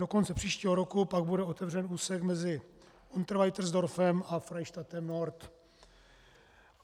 Do konce příštího roku pak bude otevřen úsek mezi Unterweitersdorfem a Freistadtem Nord.